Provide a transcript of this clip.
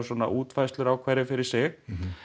útfærslur á hverri fyrir sig